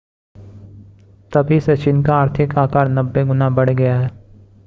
तभी से चीन का आर्थिक आकार 90 गुना बढ़ गया है